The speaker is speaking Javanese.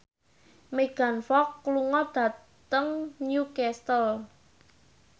Megan Fox lunga dhateng Newcastle